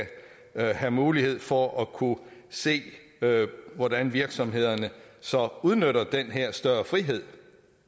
have mulighed for at kunne se hvordan virksomhederne så udnytter den her større frihed